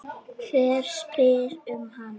Hver spyr um hana?